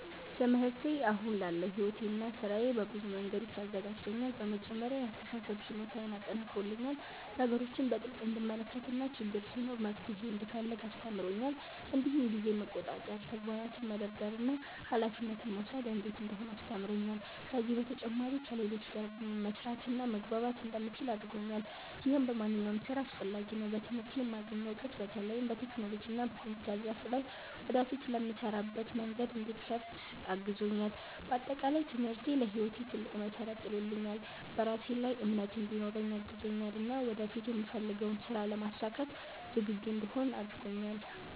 ትምህርቴ አሁን ላለው ሕይወቴና ሥራዬ በብዙ መንገዶች አዘጋጅቶኛል። በመጀመሪያ የአስተሳሰብ ችሎታዬን አጠናክሮልኛል፤ ነገሮችን በጥልቅ እንድመለከት እና ችግር ሲኖር መፍትሄ እንድፈልግ አስተምሮኛል። እንዲሁም ጊዜን መቆጣጠር፣ ተግባራትን መደርደር እና ኃላፊነት መውሰድ እንዴት እንደሆነ አስተምሮኛል። ከዚህ በተጨማሪ ከሌሎች ጋር መስራትና መግባባት እንደምችል አድርጎኛል፣ ይህም በማንኛውም ሥራ አስፈላጊ ነው። በትምህርቴ የማገኘው እውቀት በተለይም በቴክኖሎጂና በኮምፒውተር ዘርፍ ላይ ወደፊት ለምሰራበት መንገድ እንዲከፍት አግዞኛል። በአጠቃላይ ትምህርቴ ለሕይወቴ ትልቅ መሠረት ጥሎልኛል፤ በራሴ ላይ እምነት እንዲኖረኝ አግዞኛል እና ወደፊት የምፈልገውን ሥራ ለማሳካት ዝግጁ እንድሆን አድርጎኛል።